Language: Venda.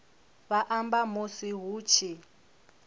vha amba musi hu tshi